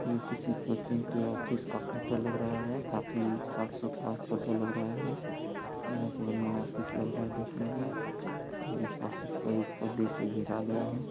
ये किसी कोचिंग के ऑफिस का फोटो लग रहा है। काफी साफ सुथरा फोटो लग रहा है। बहुत बढ़िया ऑफिस लग रहा है दिखने में इस ऑफिस को पर्दे से घेरा गया है।